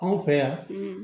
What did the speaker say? Anw fɛ yan